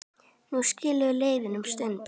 Nú skilur leiðir um stund.